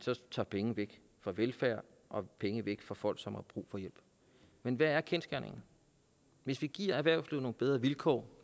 tager penge væk fra velfærd og penge væk fra folk som har brug for hjælp men hvad er kendsgerningerne hvis vi giver erhvervslivet nogle bedre vilkår